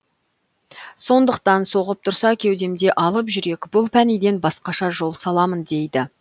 сондықтан соғып тұрса кеудемде алып жүрек бұл пәниден басқаша жол саламын дейді